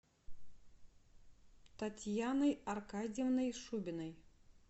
татьяной аркадьевной шубиной